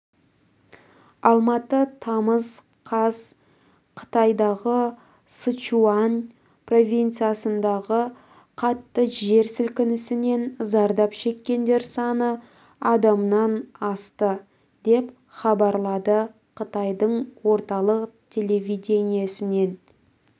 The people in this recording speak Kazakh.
алматы тамыз қаз қытайдағы сычуань провинцисындағы қатты жер сілкінісінен зардап шеккендер саны адамнан асты деп хабарлады қытайдың орталық телевидениесінен